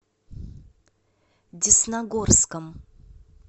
десногорском